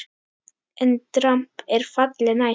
EN DRAMB ER FALLI NÆST!